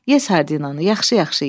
Ye sardinanı, yaxşı-yaxşı ye.